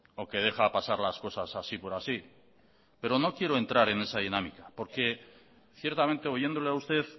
o que deja pasar las cosas así por así pero no quiero entrar en esa dinámica porque ciertamente oyéndole a usted